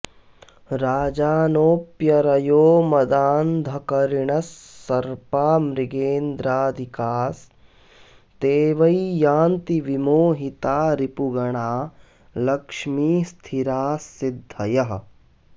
राजानोऽप्यरयो मदान्धकरिणस्सर्पा मृगेन्द्रादिकास्ते वै यान्ति विमोहिता रिपुगणा लक्ष्मीः स्थिरास्सिद्धयः